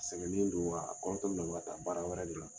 Sɛgɛnen don wa a kɔrɔtɔlen don , a bɛ ka taa baara wɛrɛ de la.